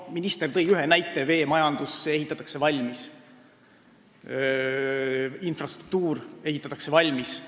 Minister tõi näite, et veemajandus ja infrastruktuur ehitatakse valmis.